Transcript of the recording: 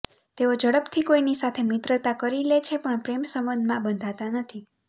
તેઓ ઝડપથી કોઈની સાથે મિત્રતા કરી લે છે પણ પ્રેમ સંબંધમાં બંધાતા નથી